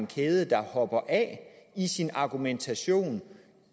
kæden hopper af i argumentationen